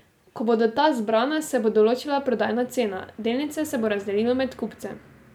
Ko bodo ta zbrana, se bo določila prodajna cena, delnice se bo razdelilo med kupce.